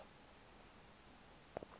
emtshanyana